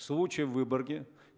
случай в выборге